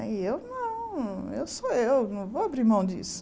E eu, não, eu sou eu, não vou abrir mão disso.